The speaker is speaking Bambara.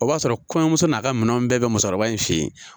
O b'a sɔrɔ kɔɲɔmuso n'a ka minɛn bɛɛ bɛ musokɔrɔba in fɛ yen.